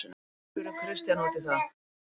Við spurðum Kristján út í það.